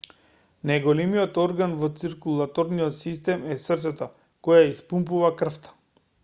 најголемиот орган во циркулаторниот систем е срцето кое ја испумпува крвта